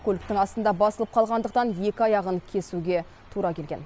көліктің астында басылып қалғандықтан екі аяғын кесуге тура келген